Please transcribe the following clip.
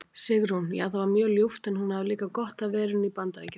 Sigrún: Já það var mjög ljúft en hún hafði líka gott af verunni í BAndaríkjunum.